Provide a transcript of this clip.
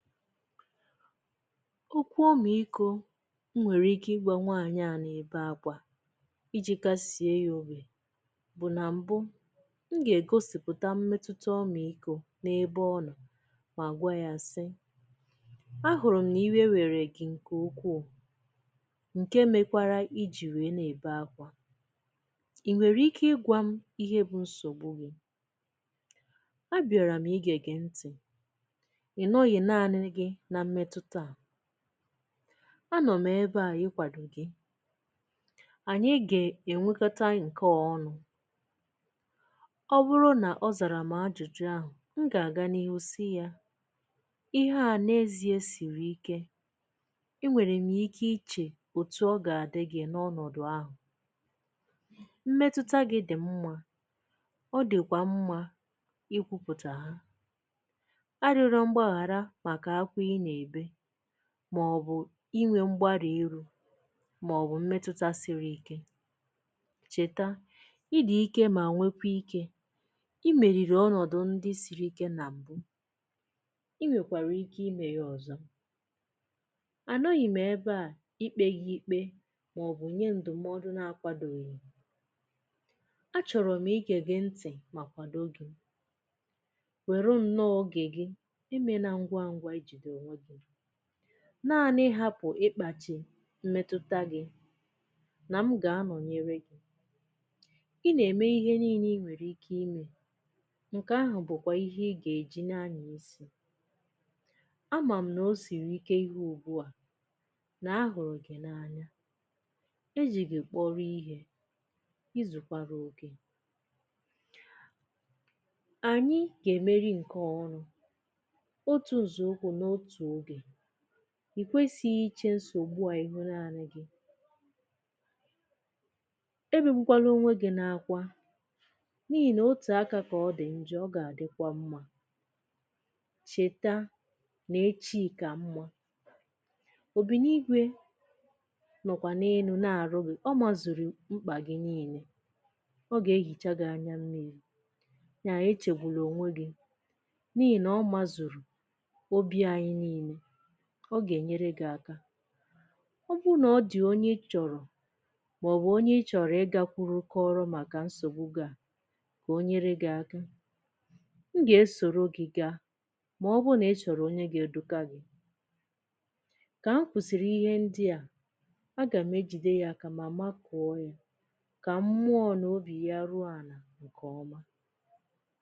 Okwu ọmị ikȯ nwèrè ike ịgwa nwaànyị à na-ebe akwȧ iji̇ kasie ya obì bụ̀ nà mbụ m gà-ègosìpụ̀ta mmetụta ọmị ikȯ n’ebe ọnọ̀ mà gwa yȧ sị, a hụ̀rụ̀ m n’iwe nwèkwara gị̇ ǹkè ukwuu ǹke mekwara ijì wèe nà-ebe akwȧ, I nwèrè ike ịgwȧ m ihe bụ nsògbu gị̇? A bị̀ara m ige gị ntị̀, i nọ̀ghi nani gi na mmetuta a, ano m̀ ebe a ikwàdò gi, ànyị gè ènwekọta ǹkè ọ̀nụ̇. Ọ bụrụ nà ọ zàrà m̀ ajụ̀jụ̀ ahụ̀ m gà-àga n’ihe ò si yȧ, ihe à n’ezi̇e sìrì ike, enwèrè m yȧ ike ichè òtù ọ gà-àdị gi̇ n’ọnọ̀dụ̀ ahụ̀. Mmetuta gị dì mmȧ, ọ dìkwà mmȧ ikwupùtà ha, ariola mgbaghara maka akwa i na-ebe màọ̀bụ̀ inwė mgbari iru màọ̀bụ̀ mmetụta siri ike. Chèta ịdị̇ ike mà nwekwa ike, imèrìrì ọnọ̀dụ̀ ndị siri ike nà m̀bụ, inwèkwàrà ike imė ya ọ̀zọ. À nọghị̇ m ebe à ikpe gi ikpe màọ̀bụ̀ nye ǹdụ̀mọdụ na-akwadoghị. A chọ̀rọ̀ m igė gị ntì màkwàdo gị̇, wèru nnọọ ogè gi, emena ngwangwa ijido onwegị, naȧnị̇ ihapụ̀ ịkpàchi mmetụta gị̇ nà m gà anònyere gi. I nà-ème ihe nii̇nė i nwèrè ike imė ǹkè ahụ̀ bụ̀kwà ihe ị gà-èji na ȧnya isi. A mà m nà o sìrì ike ihe ùgbu à nà a hụ̀rụ̀ gị̀ na-anya, e jì gi-kpọro ihė, ịzụ̀kwara okè. ànyị gà-èmeri ǹkè ọnụ, otu nzo ukwu n'otu oge. I kwesighi ichè nsògbu à ihụ nani gị. Ebegbukwana onwe gị na-akwa n’ihì nà otù aka kà ọ dị̀ njọ̇ ọ gà-àdịkwa mmȧ. Chèta nà-echi kà mmȧ, obì nà igwè nọ̀kwà n’elu na-àrụ gì, ọ mazụ̀rụ̀ mkpà gị niilė, ọ gà-ehìcha gị anya mmiri̇. Nyaà e chègbùlȧ ònwe gị̇ n'ihina o mazuru obi anyi nile, ọ gà-ènyere gị̇ aka. Ọ bụru nà ọ dị̀ onye ịchọ̀rọ̀ màọbụ̀ onye ịchọ̀rọ̀ ịgȧkwuru kọrọ màkà nsogbù gi a kà onyere gị aka, m gà-esòro gì gaa màọbụ nà ịchọ̀rọ̀ onye ga edụgagị̇. Kà m kwùsìrì ihe ndị à agà m ejide yȧ àkà mà ma kọ̀ọ yȧ kà mmụọ̇ nà obì ya ruo ànà ǹkè ọma.